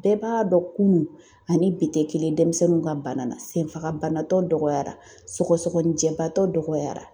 Bɛɛ b'a dɔn kunun ani bi tɛ kelen denmisɛnninw ka bana na senfagabanatɔ dɔgɔyara sɔgɔsɔgɔnijɛbaatɔ dɔgɔyara.